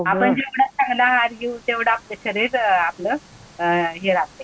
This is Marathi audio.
आपण जेवढं चांगलं आहार घेऊ तेवढं आपलं शरीर आपलं हे राहतंय.